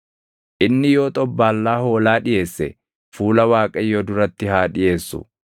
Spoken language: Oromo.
Inni yoo xobbaallaa hoolaa dhiʼeesse, fuula Waaqayyoo duratti haa dhiʼeessu.